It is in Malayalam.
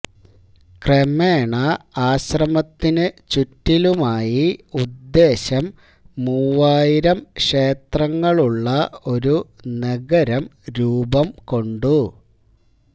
ക്രമേണ ആശ്രമത്തിനു ചുറ്റിലുമായി ഉദ്ദേശം മൂവായിരം ക്ഷേത്രങ്ങളുള്ള ഒരു നഗരം രൂപംകൊണ്ടു